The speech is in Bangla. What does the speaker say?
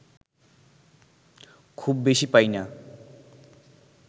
খুব বেশি পাই না